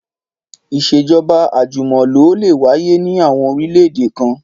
Ìṣèjọ́ba àjùmọ̀lò lè wáyé ní àwọn orílẹ̀-èdè kan